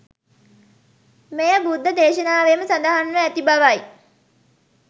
මෙය බුද්ධ දේශනාවේම සඳහන්ව ඇති බවයි.